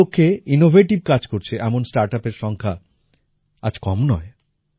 এই লক্ষ্যে ইনোভেটিভ কাজ করছে এমন স্টার্টআপের সংখ্যা আজ কম নয়